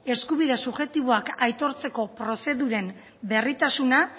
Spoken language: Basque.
eskubide subjektiboak aitortzeko prozeduren berritasuna